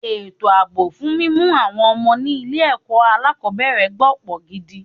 Ètò àbọ̀ fún mímú àwọn ọmọ ni ilé ẹ̀kọ́ alákòbẹ̀rẹ̀ gbó pọn gidi.